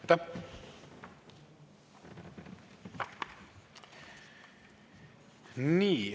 Aitäh!